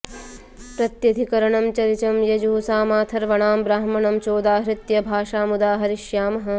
प्रत्यधिकरणं च ऋचं यजुः सामाथर्वणां ब्राह्मणं चोदाहृत्य भाषामुदाहरिष्यामः